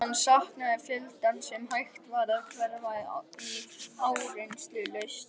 Hann saknaði fjöldans sem hægt var að hverfa í áreynslulaust.